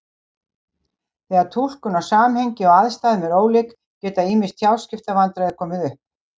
Þegar túlkun á samhengi og aðstæðum er ólík geta ýmis tjáskiptavandræði komið upp.